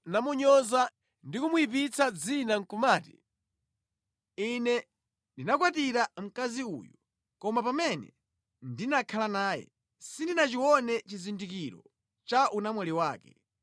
namunyoza ndi kumuyipitsira dzina nʼkumati, “Ine ndinakwatira mkazi uyu, koma pamene ndinakhala naye, sindinachione chizindikiro cha unamwali wake,”